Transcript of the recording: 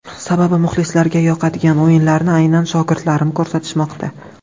Sababi muxlislarga yoqadigan o‘yinlarni aynan shogirdlarim ko‘rsatishmoqda.